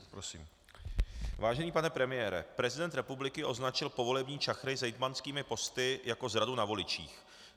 Vážený pane premiére, prezident republiky označil povolební čachry s hejtmanskými posty jako zradu na voličích.